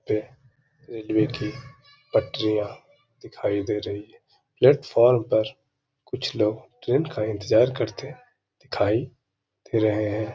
यह रेलवे की पटरियां दिखाई दे रही हैं। प्लेटफार्म पर कुछ लोग ट्रैन का इंतज़ार करते दिखाई दे रहे हैं।